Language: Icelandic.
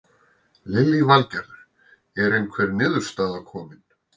Lillý Valgerður: Er einhver niðurstaða komin?